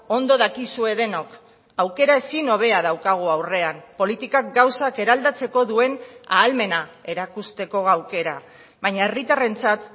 ondo dakizue denok aukera ezin hobea daukagu aurrean politikak gauzak eraldatzeko duen ahalmena erakusteko aukera baina herritarrentzat